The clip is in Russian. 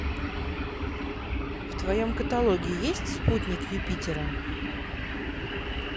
в твоем каталоге есть спутник юпитера